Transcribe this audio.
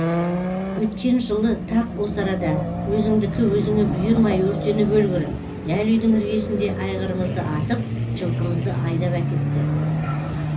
өткен жылы тақ осы арада өзіңдікі өзіңе бұйырмай өртеніп өлгір дәл үйдің іргесінде айғырымызды атып жылқымызды айдап әкітті